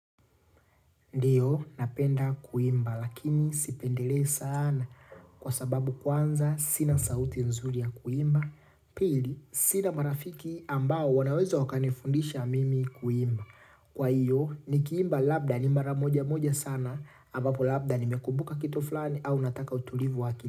Ndiyo, napenda kuimba, lakini sipendelei sana kwa sababu kwanza sina sauti nzuri ya kuimba. Pili, sina marafiki ambao wanaweza wakanifundisha mimi kuimba. Kwa hiyo, nikiimba labda ni mara moja moja sana, ambapo labda nimekumbuka kitu flani au nataka utulivu wa akili.